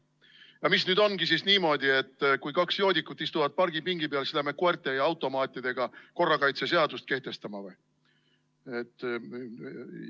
No mis nüüd ongi siis niimoodi, et kui kaks joodikut istuvad pargipingi peal, siis läheme koerte ja automaatidega korrakaitseseadust kehtestama või?